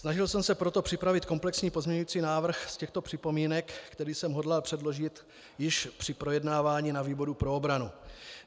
Snažil jsem se proto připravit komplexní pozměňující návrh z těchto připomínek, který jsem hodlal předložit již při projednávání na výboru pro obranu.